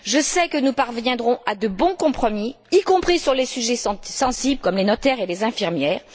Je sais que nous parviendrons à de bons compromis, y compris sur les sujets sensibles comme les notaires et les infirmières.